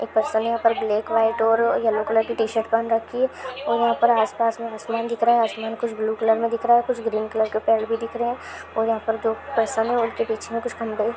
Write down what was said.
परसों यहाँ पर ब्लैक व्हाइट और येलो कलर की पहन रखी है और यहाँ पर आसपास में आसमान दिख रहे है आसमान कुछ ब्लू कलर में दिख रहा है कुछ ग्रीन कलर के पेड़ भी दिख रहे है और यहाँ पर जो परसन है उनके बीच में कुछ--